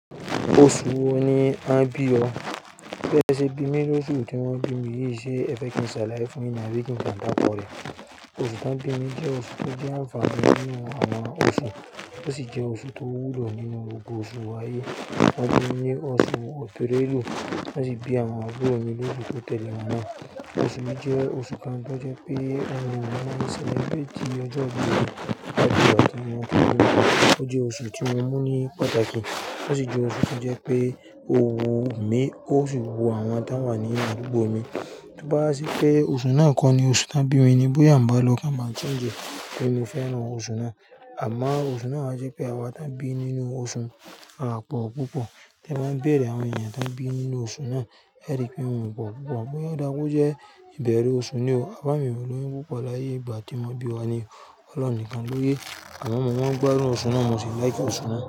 Oṣù wo ni a bí ọ? Bí ẹ sẹ bímí ni osùn tí wọn bí mi ní í ṣe Ẹfẹ́kinsaláí fún yín ni àbí kin kan dárúkọ rẹ̀. Oṣù ta bí mi jẹ́ oṣù tó jẹ́ àǹfààní nínú àwọn oṣù, ó sì jẹ́ oṣù tó wúlò nínú gbogbo oṣù ààyè. Wọ́n bí mi ní oṣù Ọ̀tẹrẹ́ èlú, wọ́n sì bí àwọn àbúrò mi lóṣù to tẹ̀le mi naa. Ẹ̀sìn mi jẹ́ oṣù kan tó jẹ́ pé àwọn ènìyàn sì le gbé ti ọjọ́ ìbí wọn ju ọdún kan lọ. Ó jẹ́ oṣù tí mo mú ní pàtàkì, bó sì jẹ́ oṣù tí jẹ́ pé òun mi ó sì wo àwọn tí wà nínú àdúgbò mi. Tí ó bá rí pé oṣù náà kọ́ ni oṣù ta bí mi ni bóyá ń bá lọ ká máa tíńjú pé mi fẹ́ran oṣù náà. Àmọ́ oṣù náà máa jẹ́ pé àwọn ta bí nínú oṣù náà pọ̀ púpọ̀. Tí wọ́n bá bèèrè àwọn ènìyàn ta bí nínú oṣù náà, ẹrí pé wọ́n wọ́n pọ̀ púpọ̀, bóyá ó dáwọ́ jẹ́ ìbẹ̀rẹ̀ oṣù ni o. Baba mi ò ní wọ́n púpọ̀ láyé ìgbà tí wọ́n bí wa ni, ọlọ́run nìkan ló yé. Àwọn ọmọ wọn gbádùn oṣù náà, mo sì láìkẹ́ oṣù náà.